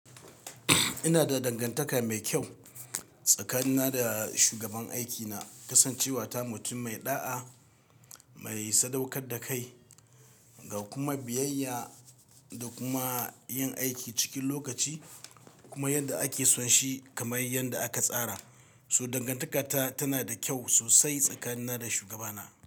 Ina da dangantaka mai kyau tsakanina da shugaban aikina. Kasancewa ta mutum mai ɗa'a, mai sadaukar da kai ga kuma biyayya da kuma yin aiki cikin lokaci kuma yadda ake son shi kamar yadda aka tsara. So dangantaka ta tana da kyau sosai tsakanina da shugabana.